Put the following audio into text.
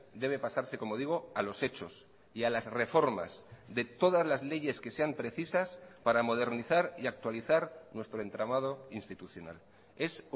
debe pasarse como digo a los hechos y a las reformas de todas las leyes que sean precisas para modernizar y actualizar nuestro entramado institucional es